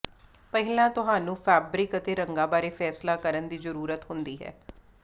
ਪਹਿਲਾਂ ਤੁਹਾਨੂੰ ਫੈਬਰਿਕ ਅਤੇ ਰੰਗਾਂ ਬਾਰੇ ਫੈਸਲਾ ਕਰਨ ਦੀ ਜ਼ਰੂਰਤ ਹੁੰਦੀ ਹੈ